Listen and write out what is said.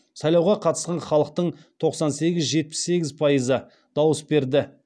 сайлауға қатысқан халықтың тоқсан сегіз жетпіс сегіз пайызы дауыс берді